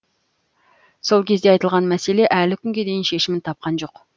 сол кезде айтылған мәселе әлі күнге дейін шешімін тапқан жоқ